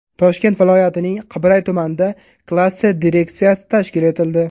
Toshkent viloyatining Qibray tumanida klaster direksiyasi tashkil etildi.